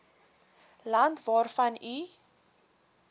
land waarvan u